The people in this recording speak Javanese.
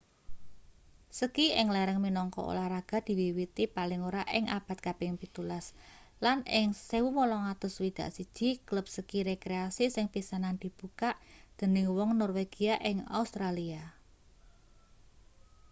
ski ing lereng minangka olahraga diwiwiti paling ora ing abad kaping 17 lan ing 1861 klub ski rekreasi sing pisanan dibukak dening wong norwegia ing australia